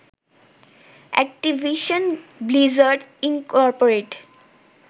Activision Blizzard Incorporated